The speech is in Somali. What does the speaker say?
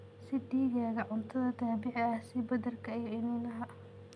Sii digaagga cuntada dabiiciga ah sida badarka iyo iniinaha.